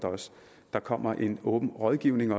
der kommer også en åben rådgivning